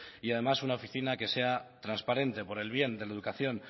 y además una oficina que sea transparente por el bien de la educación